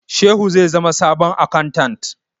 Shehu zai zama sabon akantat